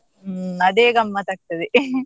ಹ್ಮ್, ಅದೇ ಗಮ್ಮತ್ ಆಗ್ತದೆ.